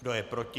Kdo je proti?